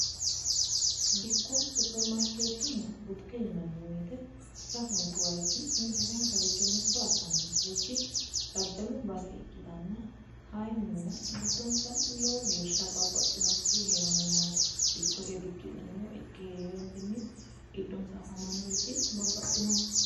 Dikko, superimarikeetenna butike yinanni woyite sasunikku wayich sasunikku richi mitto assanonisarichi daddalu base ikkitana kayilla gixdonisa lowo geesha babbaxinorichi heeranno yaate dikko dikki'nanniwa ikke heerenitinni giddonisa afamannorichi babbaxinoho.